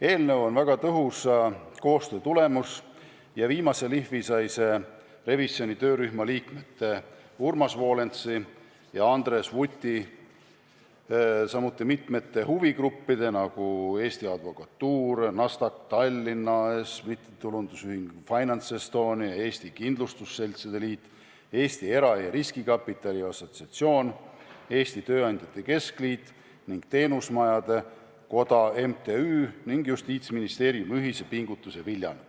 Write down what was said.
Eelnõu on väga tõhusa koostöö tulemus ja viimase lihvi sai see revisjoni töörühma liikmete Urmas Volensi ja Andres Vuti, samuti mitmete huvigruppide, nagu Eesti Advokatuur, Nasdaq Tallinn AS, MTÜ Finance Estonia, Eesti Kindlustusseltside Liit, Eesti Era- ja Riskikapitali Assotsiatsioon, Eesti Tööandjate Keskliit, MTÜ Teenusmajanduse Koda, ning Justiitsministeeriumi ühise pingutuse viljana.